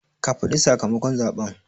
Ka faɗi sakamakon zaɓen